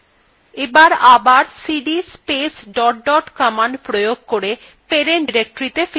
এবার cd space dot dot প্রয়োগ করে parent directoryত়ে ফিরে যাওয়া যাক